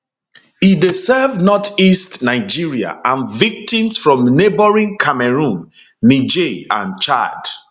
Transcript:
e dey serve northeast nigeria and victims from neighbouring cameroun niger and chad